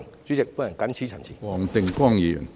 主席，我謹此陳辭。